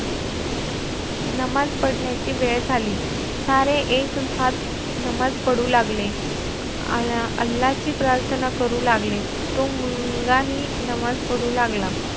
नमाज पढण्याची वेळ झाली. सारे एकसाथ नमाज पढू लागले. आल~ अल्लाची प्रार्थना करू लागले. तो मुलगाही नमाज पढू लागला.